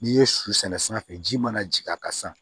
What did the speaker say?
N'i ye su sɛnɛ sanfɛ ji mana jigin a kan sisan